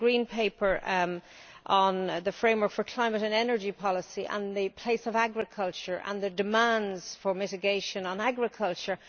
It concerns the Green Paper on the Framework for Climate and Energy Policy and the place of agriculture and the demands for mitigation in agriculture.